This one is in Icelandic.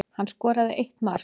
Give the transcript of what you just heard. Hann skoraði eitt mark